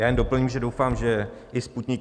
Já jen doplním, že doufám, že i Sputnik